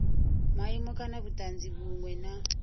maimo kana vhutanzi vhunwe na